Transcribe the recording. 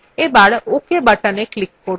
এবার ok buttonএ click করুন